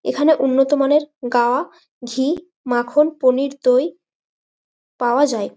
এখানে উন্নত মানের গা ঘি মাখন পনির দই পাওয়া যায়।